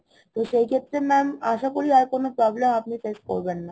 তো সেই ক্ষেত্রে mam আশা করি আর কোনো problem আপনি face করবেন না